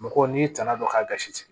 Mɔgɔw n'i tana dɔn ka gasi